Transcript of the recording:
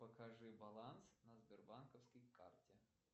покажи баланс на сбербанковской карте